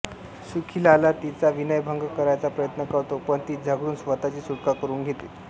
सुखीलाला तिचा विनयभंग करायचा प्रयत्न करतो पण ती झगडून स्वतःची सुटका करून घेते